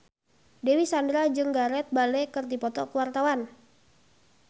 Dewi Sandra jeung Gareth Bale keur dipoto ku wartawan